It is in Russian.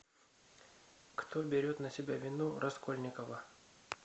кто берет на себя вину раскольникова